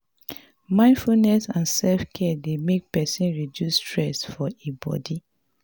mindfulness and selfcare dey make person reduce stress for di bodi